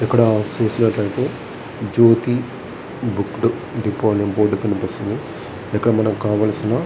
ఇక్కడ చూసీనట్లైతే Jyothi book depot అనే బోర్డు కనిపిస్తుంది. ఇక్కడ మనకు కావల్సిన --